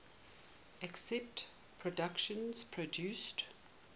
aspect productions produced